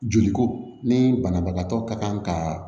Joli ko ni banabagatɔ ka kan ka